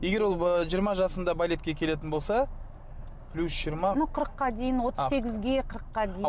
егер ол ы жиырма жасында балетке келетін болса плюс жиырма ну қырыққа дейін отыз сегізге қырыққа дейін